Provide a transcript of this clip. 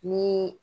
Ni